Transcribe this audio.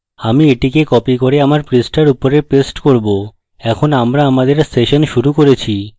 আমি এটিকে copy করে আমার পৃষ্ঠার উপরে paste করব এখন আমরা আমাদের session শুরু করেছি